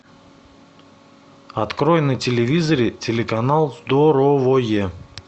открой на телевизоре телеканал здоровое